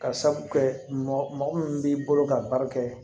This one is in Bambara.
Ka sabu kɛ mɔgɔ min b'i bolo ka baara kɛ